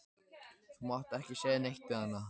Þú mátt ekki segja neitt við hana.